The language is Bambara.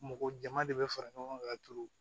Mɔgɔ jɛman de bɛ fara ɲɔgɔn kan ka turu